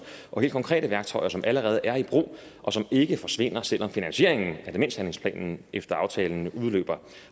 og helt konkrete værktøjer som allerede er i brug og som ikke forsvinder selv om finansieringen af demenshandlingsplanen efter aftalen udløber